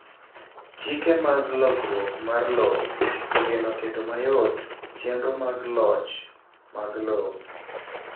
chike mag lokruok mar lowo ogeno keto mayot chenro mag loch mag lowo